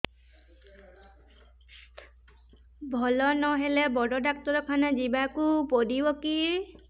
ଭଲ ନହେଲେ ବଡ ଡାକ୍ତର ଖାନା ଯିବା କୁ ପଡିବକି